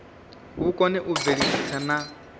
vhu kone u bveledzisa na